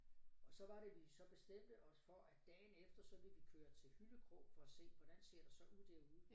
Og så var det vi så bestemte os for at dagen efter så ville vi køre til Hyllekrog for at se hvordan ser det så ud derude